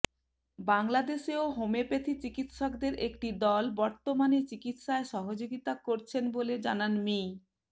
বাংলাদেশেও হোমিওপ্যাথি চিকিৎসকদের একটি দল বর্তমানে চিকিৎসায় সহযোগিতা করছেন বলে জানান মি